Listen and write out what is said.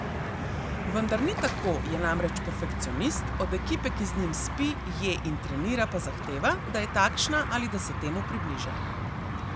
Vendar ni tako, je namreč perfekcionist, od ekipe, ki z njim spi, je in trenira, pa zahteva, da je takšna ali da se temu približa.